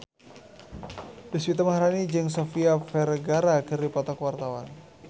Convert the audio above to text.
Deswita Maharani jeung Sofia Vergara keur dipoto ku wartawan